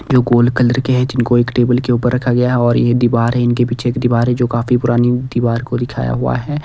जो गोल कलर के है जिनको एक टेबल के ऊपर रखा गया और ये दीवार है इनके पीछे एक दीवार है जो काफी पुरानी दीवार को दिखाया हुआ है।